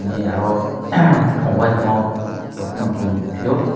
e aro ahm pongfai tongmo rok pono chong nogpio.